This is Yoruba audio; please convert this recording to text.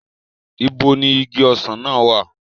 Ibo ni igi ọsàn náà wà?